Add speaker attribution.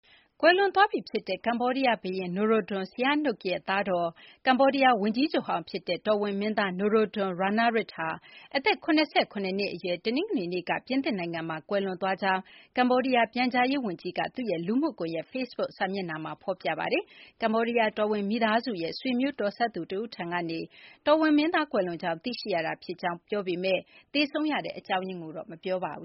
Speaker 1: ကွယ်လွန်သွားပြီဖြစ်တဲ့ ကမ္ဘောဒီးယားဘုရင် Norodom Sihanouk ရဲ့ သားတော်၊ ကမ္ဘောဒီးယား ဝန်ကြီးချုပ်ဟောင်းဖြစ်တဲ့ တော်ဝင်မင်းသား Norodom Ranariddh ဟာ အသက် ၇၇ နှစ်အရွယ် တနင်္ဂနွေနေ့က ပြင်သစ်နိုင်ငံမှာ ကွယ်လွန်သွားကြောင်း ကမ္ဘောဒီးယား ပြန်ကြားရေးဝန်ကြီး Khieu Kanharith က သူ့ရဲ့ လူမှုကွန်ရက် ဖေ့စ်ဘုတ်စာမျက်နှာမှာ ဖော်ပြထားပါတယ်။ ကမ္ဘောဒီးယား တော်ဝင်မိသားစုရဲ့ ဆွေမျိုးတော်စပ်သူ Um Daravuth ထံကနေ တော်ဝင်မင်းသား Norodom Ranariddh ကွယ်လွန်ကြောင်း သိရှိရတာဖြစ်ကြောင်း ပြန်ကြားရေးဝန်ကြီး Khieu Kanharith က ပြောပေမယ့် သေဆုံးရတဲ့ အကြော
Speaker 2: င်းရင်းကိုတော့ မပြောပါဘူ